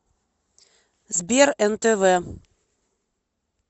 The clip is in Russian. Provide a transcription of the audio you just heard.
сбер нтв